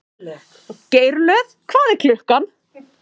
Geirlöð, hvað er klukkan?